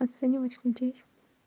оценивать людей